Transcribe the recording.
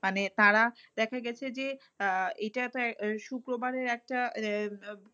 মানে তারা দেখা গেছে যে, আহ এইটা তো আহ শুক্রবারের একটা